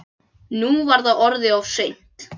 Nú var það orðið of seint.